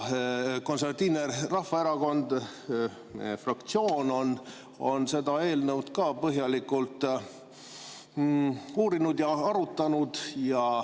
Konservatiivse Rahvaerakonna fraktsioon on seda eelnõu ka põhjalikult uurinud ja arutanud.